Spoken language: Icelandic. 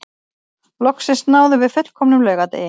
Loksins náðum við fullkomnum laugardegi